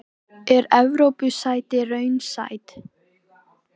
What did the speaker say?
Helgason sem langa ævi var brautryðjandi um vandaðar handritaútgáfur í